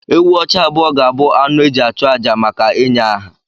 Ewù ọcha abụọ ga-abụ anụ e ji achụ àjà maka ịnye aha.